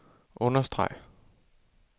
understreg